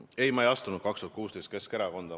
Ei, ma ei astunud 2016. aastal Keskerakonda.